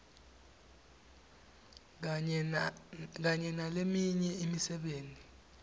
kanye naleminye imisebenti